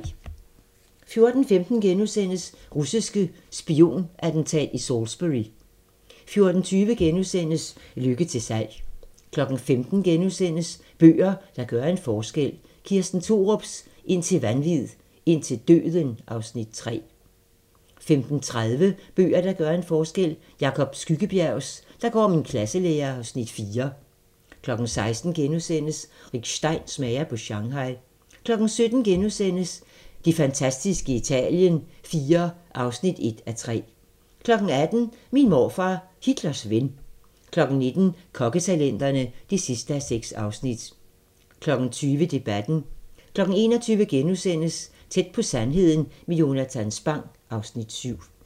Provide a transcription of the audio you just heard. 14:15: Russisk spionattentat i Salisbury * 14:20: Lykke til salg * 15:00: Bøger, der gør en forskel - Kirsten Thorups "Indtil vanvid, indtil døden" (Afs. 3)* 15:30: Bøger, der gør en forskel: Jacob Skyggebjergs "Der går min klasselærer" (Afs. 4) 16:00: Rick Stein smager på Shanghai * 17:00: Det fantastiske Italien IV (1:3)* 18:00: Min morfar, Hitlers ven 19:00: Kokketalenterne (6:6) 20:00: Debatten 21:00: Tæt på sandheden med Jonatan Spang (Afs. 7)*